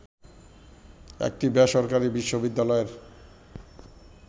একটি বেসরকারি বিশ্ববিদ্যালয়ের